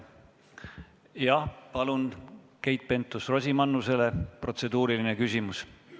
Jah, palun, Keit Pentus-Rosimannus, protseduuriline küsimus!